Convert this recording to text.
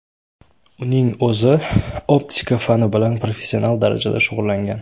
Uning o‘zi optika fani bilan professional darajada shug‘ullangan.